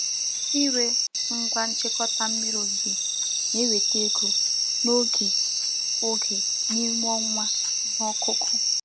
Ịre ngwa nchịkọta mmiri ozuzo na-eweta ego n'oge oge n'ime ọnwa ihe ọkụkụ.